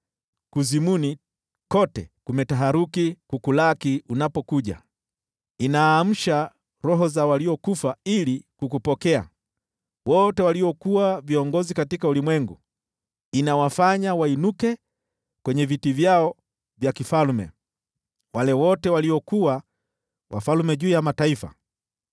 Kuzimu kote kumetaharuki kukulaki unapokuja, kunaamsha roho za waliokufa ili kukupokea, wote waliokuwa viongozi katika ulimwengu, kunawafanya wainuke kwenye viti vyao vya kifalme: wale wote waliokuwa wafalme juu ya mataifa.